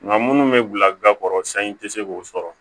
Nka minnu bɛ bila ga kɔrɔ sanji tɛ se k'o sɔrɔ